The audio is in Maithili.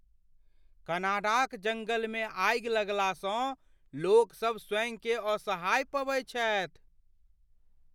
कनाडाक जंगलमे आगि लगलासँ लोकसब स्वयँकेँ असहाय पबैत छथि।